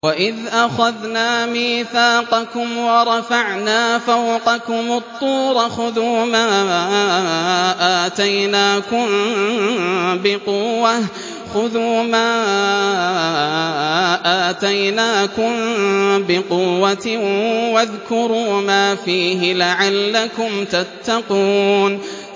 وَإِذْ أَخَذْنَا مِيثَاقَكُمْ وَرَفَعْنَا فَوْقَكُمُ الطُّورَ خُذُوا مَا آتَيْنَاكُم بِقُوَّةٍ وَاذْكُرُوا مَا فِيهِ لَعَلَّكُمْ تَتَّقُونَ